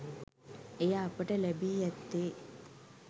එය අපට ලැබී ඇත්තේ